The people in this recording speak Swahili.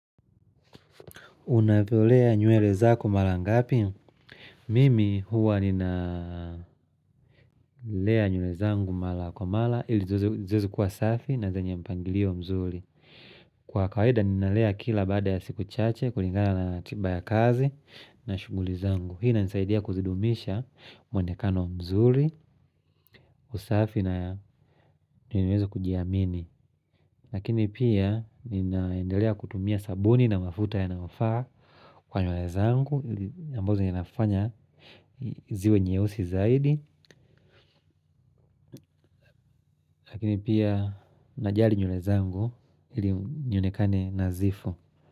Unavolea nywele zako mara ngapi? Mimi huwa ninalea nywele zangu mara kwa mara ili ziweze kuwa safi na zenye mpangilio mzuri. Kwa kawaida ninalea kila baada ya siku chache kulingana na ratiba ya kazi na shughuli zangu. Hii inanisaidia kuzidumisha mwonekano mzuri, usafi na niweze kujiamini. Lakini pia ninaendelea kutumia sabuni na mafuta yanayofaa kwa nywele zangu, ambazo inafanya ziwe nyeusi zaidi, lakini pia najali nywele zangu ili nionekane nadhifu.